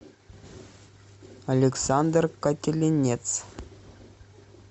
александр кателенец